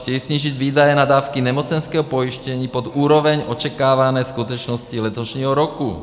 Chtějí snížit výdaje na dávky nemocenského pojištění pod úroveň očekávané skutečnosti letošního roku.